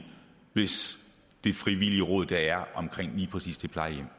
hvis de frivillige råd der er på lige præcis det plejehjem